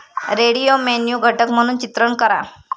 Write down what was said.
radio menu घटक म्हणून चित्रण करा